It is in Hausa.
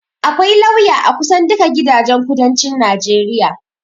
akwai lauya a kusan duka gidajen kudancin najeriya